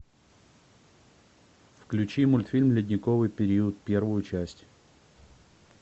включи мультфильм ледниковый период первую часть